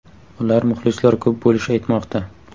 Ular muxlislar ko‘p bo‘lishi aytmoqda.